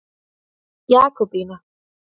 Jakobína